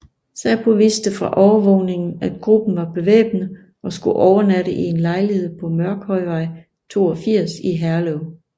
Säpo vidste fra overvågningen at gruppen var bevæbnet og skulle overnatte i en lejlighed på Mørkhøjvej 82 i Herlev